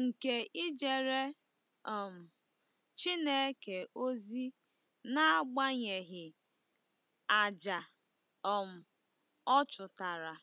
nke ijere um Chineke ozi n'agbanyeghị àjà um ọ chụtara?